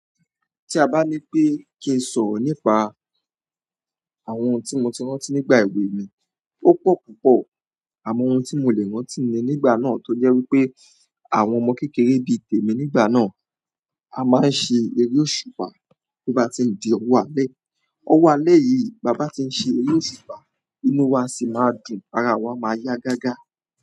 Tí a bá ní pé kí n sọ̀rọ̀ nípa àwọn ohun tí mo ti rántí nígbà èwe mi, ó pọ̀ púpọ̀ àmo ohun tí mo le rántí ni nígbà náà tó jẹ́ wípé àwọn ọmọ kékeré bí tèmi nígbà náà, a máa ń ṣe eré òṣùpá bo bá tí ń di ọwọ́ alẹ́. Ọwọ́ alẹ́ yìí, bàa bá tí ń ṣe eré òṣùpá inú wa sì máa dùn, ara awa máa yá gágá.